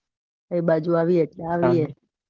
એ બાજુ આવીયે એટલે આઇયે.